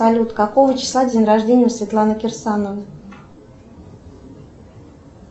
салют какого числа день рождение у светланы керсановой